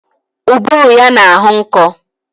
Ụbụrụ ya na-ahọ nkọ